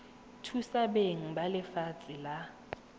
thusa beng ba lefatshe la